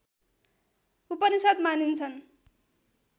उपनिषद् मानिन्छन्